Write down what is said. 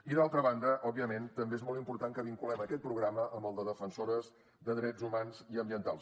i d’altra banda òbviament també és molt important que vinculem aquest programa amb el de defensores de drets humans i ambientals